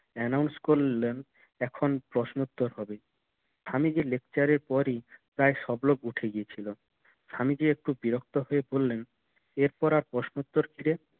announce করলেন এখন প্রশ্ন উত্তর হবে স্বামীজি lecture এর পরে প্রায় সব লোক উঠে গিয়েছিল স্বামীজি একটু বিরক্ত হয়ে বললেন এরপর আর প্রশ্ন উত্তরের চেয়ে